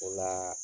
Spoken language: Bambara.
O laa